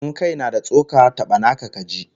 In kai na da tsoka, taba naka kaji!